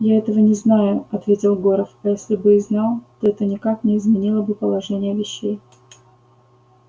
я этого не знаю ответил горов а если бы и знал то это никак не изменило бы положения вещей